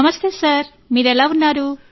నమస్తే సార్ మీరెలా ఉన్నారు